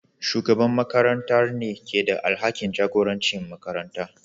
Shugaban makarantar ne ke da alhakin jagorancin makarantar.